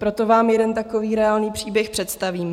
Proto vám jeden takový reálný příběh představím.